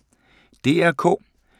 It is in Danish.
DR K